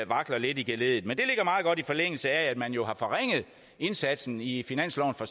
vakler lidt i geleddet men det ligger meget godt i forlængelse af at man jo har forringet indsatsen i finansloven for